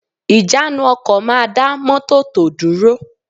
Ìjánu ọkọ̀ máa dá mọ́tọ̀ tò dúró